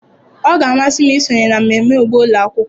Ọ ga-amasị m isonye na mmemme ugbo ụlọ akwụkwọ.